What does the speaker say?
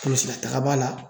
polsilataga b'a la